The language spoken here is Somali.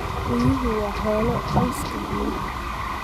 Riyuhu waa xoolaha qoyska riyaha.